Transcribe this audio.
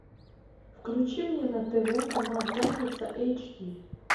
включи мне на тв канал пятница эйч ди